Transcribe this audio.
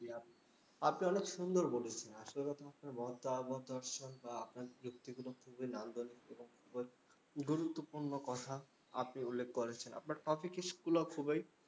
আপনি অনেক সুন্দর বলেছেন। আসল কথা আপনার খুবই নান্দনিক এবং খুবই গুরুত্বপূর্ণ কথা আপনি উল্লেখ করেছেন। আপনার খুবই